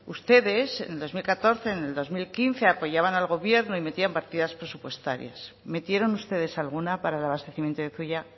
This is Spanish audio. ustedes en el dos mil catorce en el dos mil quince apoyaban al gobierno y metían partidas presupuestarias metieron ustedes alguna para el abastecimiento de zuia